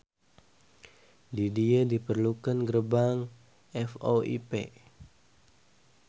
Di dieu diperlukeun gerbang VoIP